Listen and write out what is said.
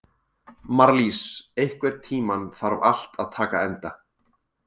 Marlís, einhvern tímann þarf allt að taka enda.